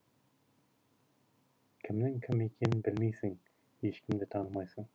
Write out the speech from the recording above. кімнің кім екенін білмейсің ешкімді танымайсың